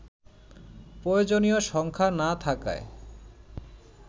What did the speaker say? প্রয়োজনীয় সংখ্যা না থাকায়